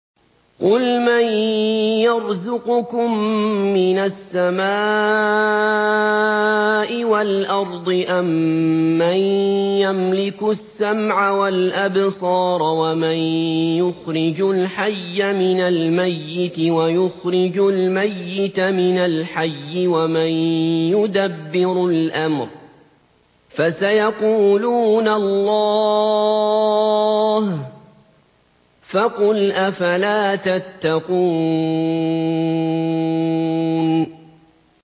قُلْ مَن يَرْزُقُكُم مِّنَ السَّمَاءِ وَالْأَرْضِ أَمَّن يَمْلِكُ السَّمْعَ وَالْأَبْصَارَ وَمَن يُخْرِجُ الْحَيَّ مِنَ الْمَيِّتِ وَيُخْرِجُ الْمَيِّتَ مِنَ الْحَيِّ وَمَن يُدَبِّرُ الْأَمْرَ ۚ فَسَيَقُولُونَ اللَّهُ ۚ فَقُلْ أَفَلَا تَتَّقُونَ